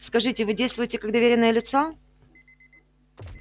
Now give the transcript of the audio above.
скажите вы действуете как доверенное лицо